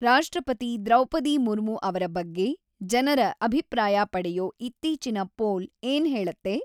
ರಾಷ್ಟ್ರಪತಿ ದ್ರೌಪದಿ ಮುರ್ಮು‌ ಅವ್ರ ಬಗ್ಗೆ ಜನರ ಅಭಿಪ್ರಾಯ ಪಡೆಯೋ ಇತ್ತೀಚಿನ ಪೋಲ್‌ ಏನ್‌ ಹೇಳತ್ತೆ